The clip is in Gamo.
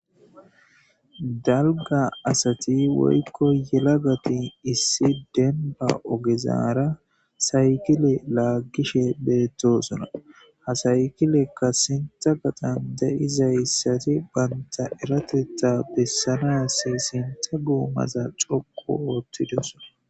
Daliga asati woyiko yelagati issi denba ogezaara saykile lagishe beettosona hasaykilekka sintha gaxan de'iza issati baynta eratetta bessanas sintha guumaza coqu oottidosona